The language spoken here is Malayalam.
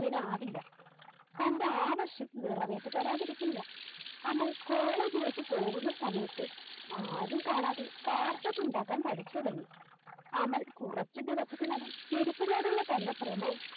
വിനാവില്ല തൻറെ ആവശ്യം നിറവേറ്റിത്തരാതിരിക്കില്ല അമൽ College ലേക്ക് പോകുന്ന സമയത്ത് ആരും കാണാതെ Carpet ഉണ്ടാക്കാൻ പഠിച്ചുതുടങ്ങി അമൽ കുറച്ചു ദിവസത്തിനകം ചെരുപ്പിനോടുള്ള തൻറെ ഭ്രമം